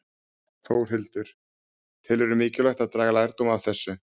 Þórhildur: Telurðu mikilvægt að draga lærdóm af þessu?